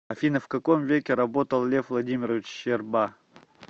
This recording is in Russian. афина в каком веке работал лев владимирович щерба